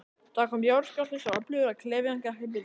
Það kom jarðskjálfti, svo öflugur að klefinn gekk í bylgjum.